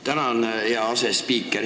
Tänan, hea asespiiker!